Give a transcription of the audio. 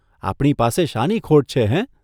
આપણી પાસે શાની ખોટ છે, હેં?